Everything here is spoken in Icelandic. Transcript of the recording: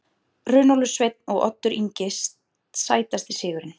Runólfur Sveinn og Oddur Ingi Sætasti sigurinn?